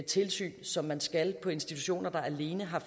tilsyn som man skal på institutioner der alene har